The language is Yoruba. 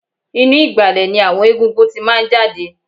Inú ìgbàlẹ̀ ni àwọn egungun tí máa ń jáde